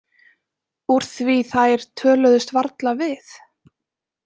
Úr því þær töluðust varla við.